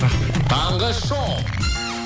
таңғы шоу